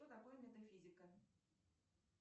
что такое метафизика